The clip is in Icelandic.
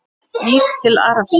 Ís til Arabíu?